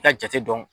I ka jate dɔn